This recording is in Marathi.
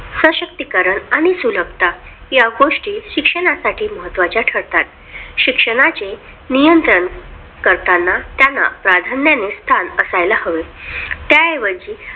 सह शक्ती करण आणि सुलभता गोष्टी शिक्षणासाठी महत्त्वाच्या ठरतात शिक्षणाचे नियंत्रण करताना त्यांना प्राधान्याने स्थान असायला हवे त्याऐवजी